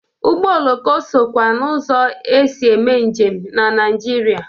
Ụgbọ oloko sokwa n'ụzọ e si eme njem na Naịjirịa.